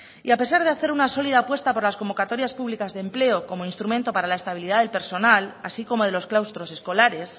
y a pesar de hacer una sólida apuesta por las convocatorias públicas de empleo como instrumento para la estabilidad del personal así como de los claustros escolares